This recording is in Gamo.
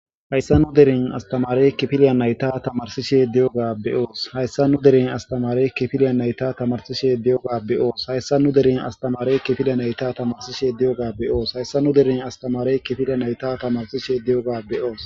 Haysa nu deren astamarey nayta tamarisishe de'oga be'osi, Haysa nu deren astamarey nayta tamarisishe de'oga be'osi,